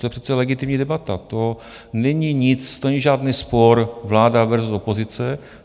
To je přece legitimní debata, to není nic, to není žádný spor vláda versus opozice.